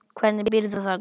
Hvernig býrðu þarna úti?